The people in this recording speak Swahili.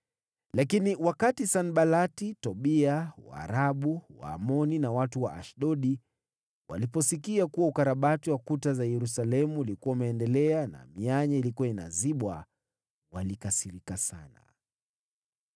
Lakini wakati Sanbalati, Tobia, Waarabu, Waamoni na watu wa Ashdodi waliposikia kuwa ukarabati wa kuta za Yerusalemu ulikuwa umeendelea na mianya ilikuwa inazibwa, walikasirika sana.